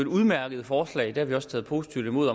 udmærkede forslag det har vi også taget positivt imod